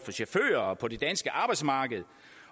for det danske arbejdsmarked